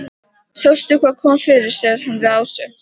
Sástu hvað kom fyrir? segir hann við Ásu.